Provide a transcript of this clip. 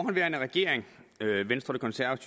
venstre